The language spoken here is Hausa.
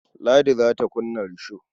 Ladi za ta kunna risho.